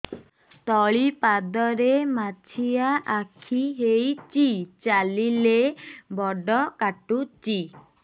ତଳିପାଦରେ ମାଛିଆ ଖିଆ ହେଇଚି ଚାଲିଲେ ବଡ଼ କାଟୁଚି